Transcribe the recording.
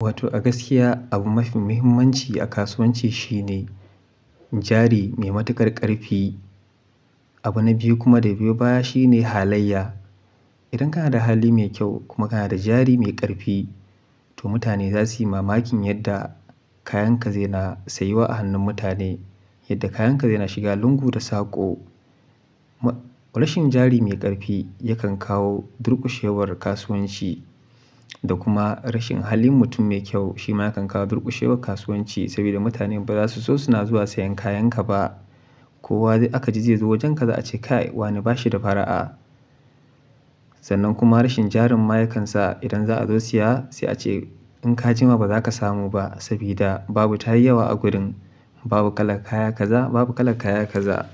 Wato a gaskiya abu mafi muhimmanci a kasuwanci shine jari mai matuƙar ƙarfi. Abu na biyu kuma da biyu da ya biyo baya shine halayya. Idan kana da hali mai kyau kuma kana da jari mai ƙarfi, to mutane za su yi mamakin yadda kayanka zai na sayuwa a hannun mutane, yadda kayanka zai na shiga lungu da saƙo. Rashin jari mai ƙarfi yakan kawo durƙushewar kasuwanci da kuma rashin halin mutum mai kyau shi ma yakan kawo durƙushewar kasuwanci saboda mutane ba za su so suna zuwa sayen kayanka ba. Ko wadai aka ji zai zo wajenka za a ce kai wani ba shi da fara'a. Sannan kuma rashin jarin ma yakan sa idan za a zo siya sai a ce in ka jima ba za ka samu ba saboda babu tayi yawa a gurin. Babu kalar kaya kaza, babu kalar kaya kaza.